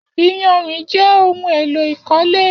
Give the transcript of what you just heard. Iyànrín jè óhùn éló ikọ̀lé